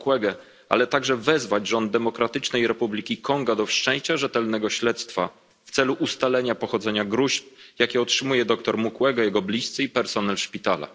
Mukwege, ale także wezwać rząd Demokratycznej Republiki Konga do wszczęcia rzetelnego śledztwa w celu ustalenia źródła gróźb, które otrzymuje dr Mukwege, jego bliscy i personel szpitala.